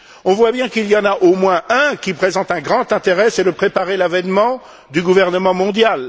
On voit bien qu'il y en a au moins un qui présente un grand intérêt c'est de préparer l'avènement du gouvernement mondial